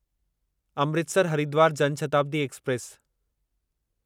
Amritsar Haridwar Jan Shatabdi express